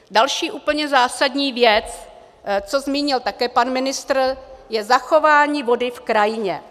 Další úplně zásadní věc, co zmínil také pan ministr, je zachování vody v krajině.